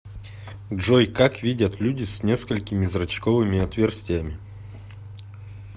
джой как видят люди с несколькими зрачковыми отверстиями